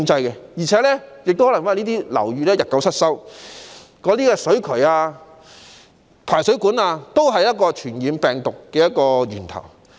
而且，由於樓宇日久失修，以致水渠或排水管成為傳播病毒的源頭。